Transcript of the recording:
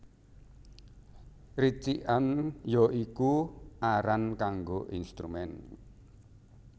Ricikan ya iku aran kanggo instrumen